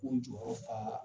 K'u jɔyɔrɔ faa